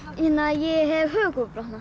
ég hef